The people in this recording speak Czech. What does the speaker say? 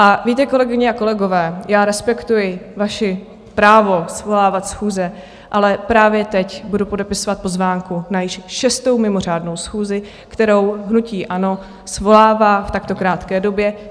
A víte, kolegyně a kolegové, já respektuji vaše právo svolávat schůze, ale právě teď budu podepisovat pozvánku na již šestou mimořádnou schůzi, kterou hnutí ANO svolává v takto krátké době.